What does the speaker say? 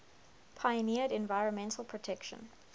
pioneered environmental protection